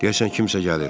Deyəsən, kimsə gəlir.